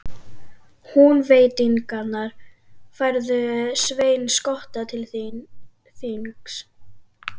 Húnvetningar færðu Svein skotta til þings.